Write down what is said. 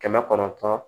Kɛmɛ kɔnɔntɔn